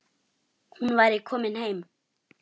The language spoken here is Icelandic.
Hún væri komin heim.